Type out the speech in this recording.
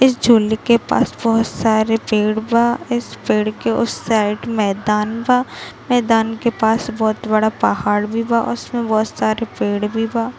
इस झुंड के पास बहुत सारे पेड़ बा इस पेड़ के उस साइड मैदान बा मैदान के पास बहुत बड़ा पहाड़ भी बा और उसमे बहुत सारे पेड़ भी बा।